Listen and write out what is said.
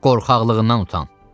Qorxaqlığından utan.